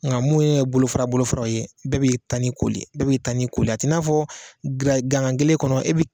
Nga munnu ye bolofara bolofaraw ye bɛɛ b'i tani koli bɛɛ b'i tani koli l a t'i n'a fɔ giriya gangan kelen kɔnɔ